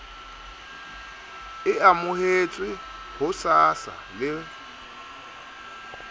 e amohetswe ho sasa le